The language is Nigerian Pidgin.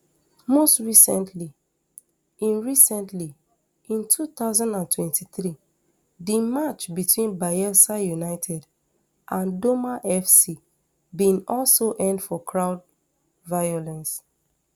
most recently in recently in two thousand and twenty-three di match between bayelsa united and doma fc bin also end for crowd violence